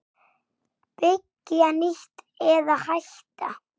Byggja nýtt- eða hætta?